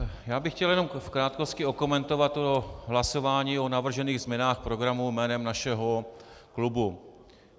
Já bych chtěl jenom v krátkosti okomentovat to hlasování o navržených změnách programu jménem našeho klubu.